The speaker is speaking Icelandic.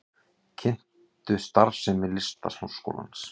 Kynntu starfsemi Listaháskólans